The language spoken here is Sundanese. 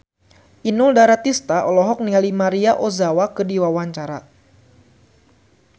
Inul Daratista olohok ningali Maria Ozawa keur diwawancara